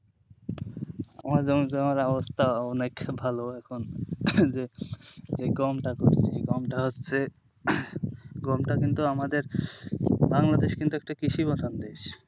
আমার যেমন তেমন অবস্থা অনেক ভালো এখন যে গমটা করেছি গমটা হচ্ছে গমটা কিন্তু আমাদের বাংলাদেশ কিন্তু একটা কৃষি প্রধান দেশ।